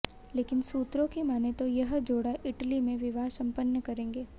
लेकिन सूत्रों की मानें तो यह जोड़ा इटली में विवाह संपन्न करेंगे